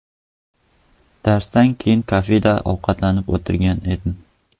Darsdan keyin kafeda ovqatlanib o‘tirgan edim.